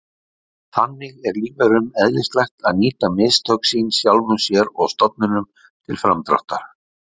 Þannig er lífverum eðlislægt að nýta mistök sín sjálfum sér og stofninum til framdráttar.